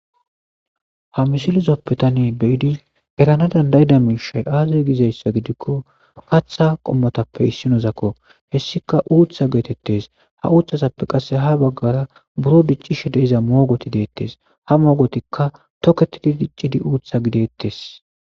ha misilizoppe tane beyidi erana dandayida miishay aazi gizayssa gidikko katha qommotappe issinozakko hessika uutha geetettes ha uuththazappe qasse ha baggara buro diccishe deiza moogoti deettes ha moogotikka toketidi diccidi uutha gideettes